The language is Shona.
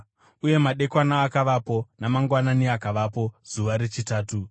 Uye madekwana akavapo, namangwanani akavapo, zuva rechitatu.